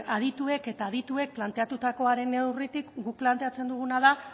adituek eta adituek planteatutakoaren neurritik guk planeatzen duguna da